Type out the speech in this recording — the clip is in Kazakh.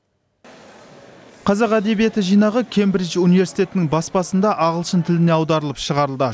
қазақ әдебиеті жинағы кэмбридж университетінің баспасында ағылшын тіліне аударылып шығарылды